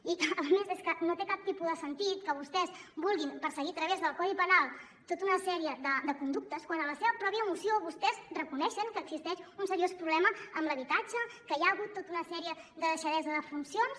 i a més és que no té cap tipus de sentit que vostès vulguin perseguir a través del codi penal tota una sèrie de conductes quan a la seva pròpia moció vostès reconeixen que existeix un seriós problema amb l’habitatge que hi ha hagut tota una sèrie de deixadesa de funcions